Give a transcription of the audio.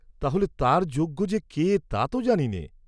তাহলে তার যোগ্য যে কে তা তো জানি নে।